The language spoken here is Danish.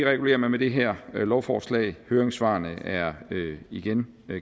regulerer man med det her lovforslag høringssvarene er igen